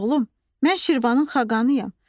Oğlum, mən Şirvanın xaqanıyım.